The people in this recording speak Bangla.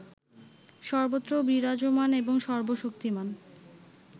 সর্বত্র বিরাজমান এবং সর্ব শক্তিমান